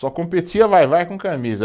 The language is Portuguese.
Só competia Vai-Vai com Camisa.